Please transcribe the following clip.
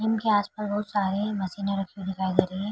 इनके आसपास बहुत सारे मशीन रखे हुए दिखाई दे रहे हैं ।